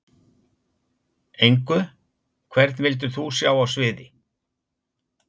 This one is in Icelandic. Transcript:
Engu Hvern vildir þú sjá á sviði?